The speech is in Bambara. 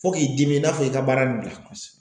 Fo k'i dimi i n'a fɔ i ka baara in bila.